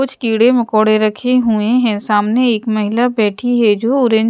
कुछ कीड़े मकोड़े रखे हुए हैं सामने एक महिला बैठी है जो और--